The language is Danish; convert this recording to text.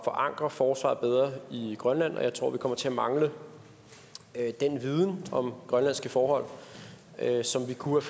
forankre forsvaret bedre i grønland og jeg tror vi kommer til at mangle den viden om grønlandske forhold som vi kunne